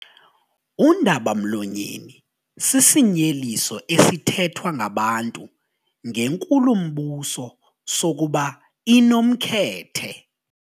Undaba-mlonyeni sisinyeliso esithethwa ngabantu ngenkulumbuso sokuba inomkhethe.